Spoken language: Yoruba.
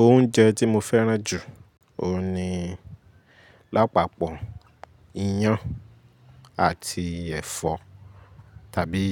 Oúnjẹ tí mo fẹ́ràn jù, òun ni lápapọ̀, iyán àti ẹ̀fọ́ tàbí